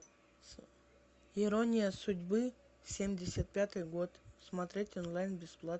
ирония судьбы семьдесят пятый год смотреть онлайн бесплатно